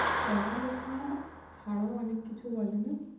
পড়ালেখা ছাড়াও অনেক কিছু বলে না!